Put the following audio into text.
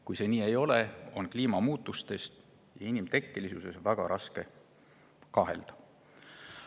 Kui see nii ei ole, on kliimamuutuse inimtekkelisuses väga raske kahelda.